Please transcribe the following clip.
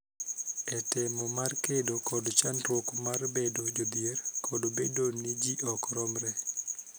E temo mar kedo kod chandruok mar bedo jodhier kod bedo ni ji ok romre.